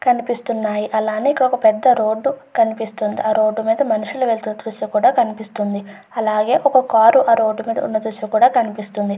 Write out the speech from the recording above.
కనిపిస్తూ ఉన్నాయి. అలానే ఇక్కడొక పెద్ద రోడ్డు కనిపిస్తుంది. ఆ రోడ్డు మీద మనుషులు వెళుతున్నట్టు కూడా ఈ దృశ్యంలో తెలుస్తుంది. అలాగే ఒక కారు ఆ రోడ్డు మీద ఉన్న దృశ్యం కూడా కనిపిస్తుంది.